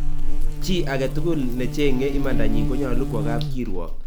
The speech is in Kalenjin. Chii agetugul necheng'e imandanyin konyolu kwo kapkirwok